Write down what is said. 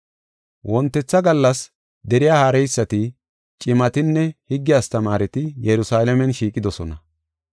Wontetha gallas deriya haareysati, cimatinne, higge astamaareti Yerusalaamen shiiqidosona.